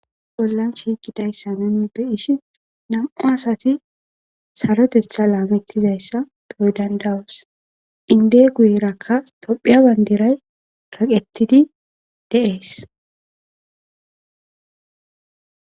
Bollan shiikidayssa nunippe ishi nam7u asati sarotetha laamettizayssa doydandawas inde guyerakka tophiya banderay kaqettidi deees